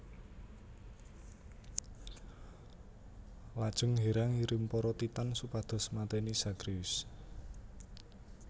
Lajeng Hera ngirim para Titan supados mateni Zagreus